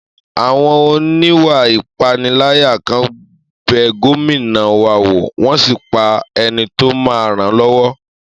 Àwọn oníwà ìpániláyà kan bẹ Gómìnà wa wò, wọ́n ṣì pa ẹni tó máa n ràn lọ́wọ́